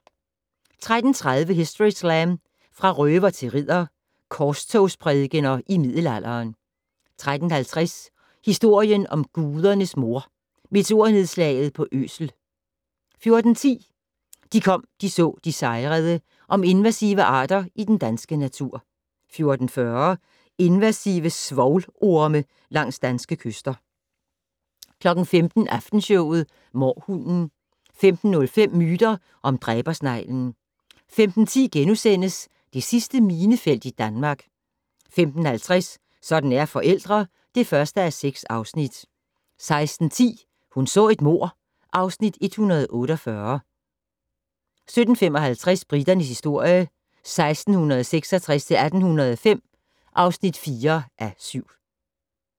13:30: Historyslam - Fra røver til ridder - korstogsprædikener i middelalderen 13:50: Historien om Gudernes moder - Meteornedslaget på Øsel 14:10: De kom, de så, de sejrede - om invasive arter i den danske natur 14:40: Invasive svovlorme langs danske kyster 15:00: Aftenshowet - mårhunden 15:05: Myter om dræbersneglen 15:10: Det sidste minefelt i Danmark * 15:50: Sådan er forældre (1:6) 16:10: Hun så et mord (Afs. 148) 17:55: Briternes historie 1666-1805 (4:7)